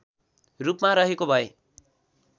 रूपमा रहेको भए